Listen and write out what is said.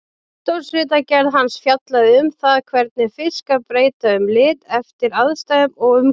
Doktorsritgerð hans fjallaði um það hvernig fiskar breyta um lit eftir aðstæðum og umhverfi.